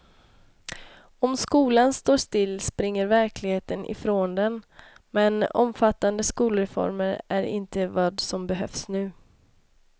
Om skolan står still springer verkligheten ifrån den, men omfattande skolreformer är inte vad som behövs nu.